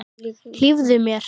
Hlífðu mér.